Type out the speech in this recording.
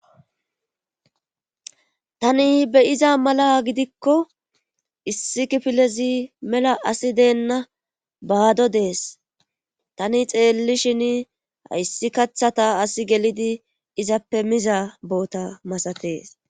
tani beyiza mala gidikko issi kifilezi mela asi deenna baado dees tani xeelli shin hayssi kaththata as gelidi izappe miza boota masatees